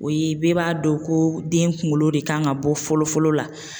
O ye bɛɛ b'a dɔn ko den kunkolo de kan ka bɔ fɔlɔ fɔlɔ la.